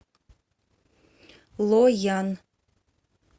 лоян